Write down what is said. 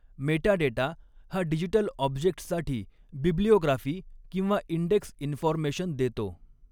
Metadata हा digital ऑब्जेक्ट्ससाठी bibliography किंवा इंडेक्स इन्फॉरमेशन दॆतो.